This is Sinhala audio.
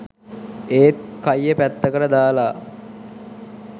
ඒත් කයිය පැත්තකට දාලා